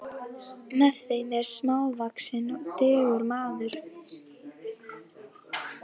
Með þeim er smávaxinn og digur maður.